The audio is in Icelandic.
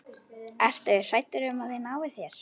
Ertu hræddur um að þeir nái þér?